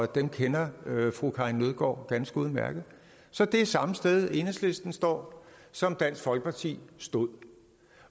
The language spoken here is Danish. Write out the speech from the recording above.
dem kender fru karin nødgaard ganske udmærket så det er samme sted enhedslisten står som dansk folkeparti stod